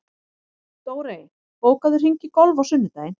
Dórey, bókaðu hring í golf á sunnudaginn.